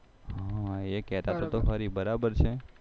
હા એ કેતા તો ખરી બરાબર છે